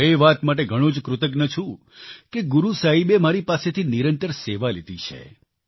હું એ વાત માટે ઘણો જ કૃતજ્ઞ છું કે ગુરુ સાહેબે મારી પાસેથી નિરંતર સેવા લીધી છે